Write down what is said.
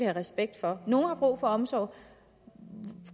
respekt for nogle har brug for omsorg